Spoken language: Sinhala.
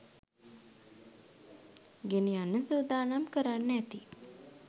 ගෙනියන්න සුදානම් කරන්න ඇති